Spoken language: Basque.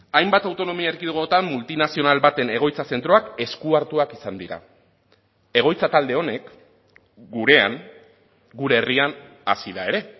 hainbat autonomia erkidegotan multinazional baten egoitza zentroak esku hartuak izan dira egoitza talde honek gurean gure herrian hasi da ere